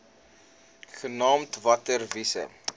genaamd water wise